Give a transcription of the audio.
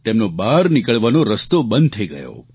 તેમનો બહાર નીકળવાનો રસ્તો બંધ થઇ ગયો